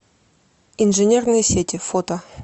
инженерные сети фото